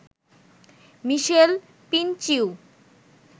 মিশেল পিনচিউ